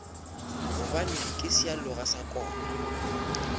gobane ke sealoga sa koma